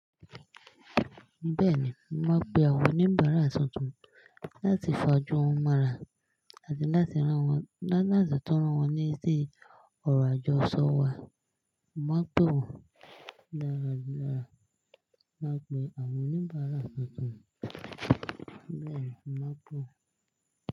Bẹ́ẹ̀ni, máa pe àwọn oníbàárà tuntun láti fà ájù wọ́n mọ́ra àti láti rántí wọ́n, láti tọ́rọ́ wọ́n ní sí ọrọ̀ àjọṣọ wa. Màá pe wọ́n dáradára. Màá pe àwọn oníbàárà tuntun. Bẹ́ẹ̀ni, màá pe wọ́n.